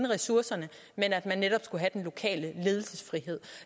ressourcerne men at man netop skulle have den lokale ledelsesfrihed